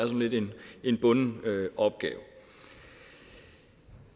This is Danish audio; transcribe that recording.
en bunden opgave